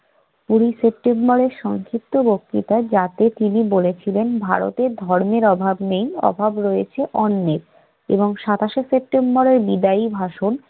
কুড়ি সেপ্টেম্বরের সংক্ষিপ্ত বক্তৃতায় যাতে তিনি বলেছিলেন, ভারতে ধর্মের অভাব নেই অভাব রয়েছে অন্নের এবং সাতাশে সেপ্টেম্বরের বিদায়ী ভাষণ